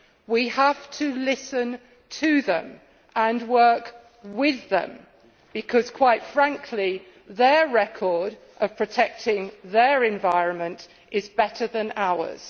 We have to listen to them and work with them because, quite frankly, their record of protecting their environment is better than ours.